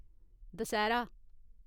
Dussehra